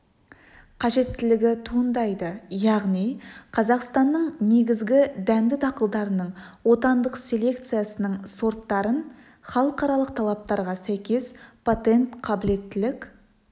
қажеттілігі туындайды яғни қазақстанның негізгі дәнді дақылдарының отандық селекциясының сорттарын халықаралық талаптарға сәйкес патент қабілеттілік